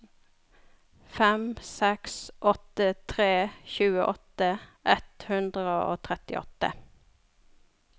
fem seks åtte tre tjueåtte ett hundre og trettiåtte